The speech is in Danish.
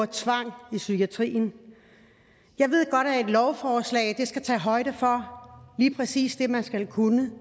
tvang i psykiatrien jeg ved godt at et lovforslag skal tage højde for lige præcis det man skal kunne